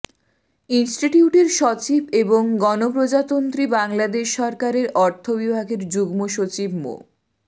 ইনস্টিটিউটের সচিব এবং গণপ্রজাতন্ত্রী বাংলাদেশ সরকারের অর্থ বিভাগের যুগ্ম সচিব মো